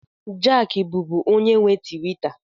Jack bụbu onye nwe Tiwita.